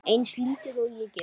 Eins lítil og ég get.